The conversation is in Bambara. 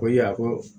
Ko i ya ko